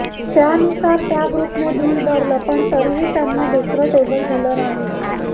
त्यानुसार त्या ग्रुपने बिल भरलं पण तरीही त्यांना दुसरं टेबल दिलं नाही